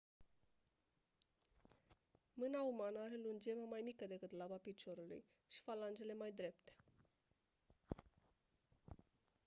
mâna umană are lungimea mai mică decât laba piciorului și falangele mai drepte